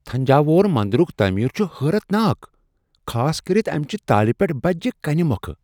تھنجاووُر مندرٗك تعمیر چھ حیرت ناک، خاصكرِتھ امہ چہ تالہِ پیٹھ بجہ کنیہ مۄکھٕ ۔